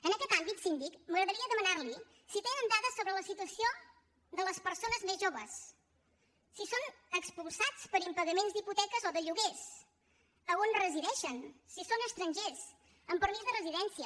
en aquest àmbit síndic m’agradaria demanar li si tenen dades sobre la situació de les persones més joves si són expulsats per impagaments d’hipoteques o de lloguers a on resideixen si són estrangers amb permís de residència